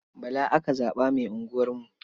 Bala aka zaɓa mai unguwarmu.